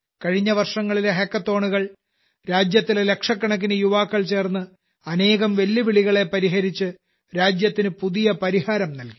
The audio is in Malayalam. കഴിഞ്ഞ വർഷങ്ങളിലെ ഹക്കത്തോണുകൾ രാജ്യത്തിലെ ലക്ഷക്കണക്കിന് യുവാക്കൾ ചേർന്ന് അനേകം വെല്ലുവിളികളെ പരിഹരിച്ച് രാജ്യത്തിന് പുതിയ പരിഹാരം നൽകി